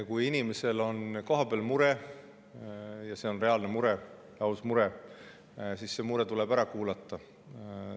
Kui inimesel on kohapeal mure ja see on reaalne mure, aus mure, siis see tuleb ära kuulata.